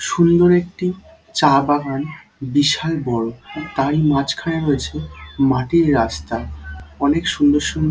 সুন্দর একটি চা বাগান বিশাল বড়। তারই মাঝখানে রয়েছে মাটির রাস্তা। অনেক সুন্দর সুন্দর--